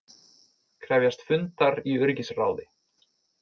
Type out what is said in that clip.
Krefjast fundar í öryggisráði